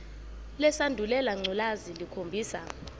lesandulela ngculazi lukhombisa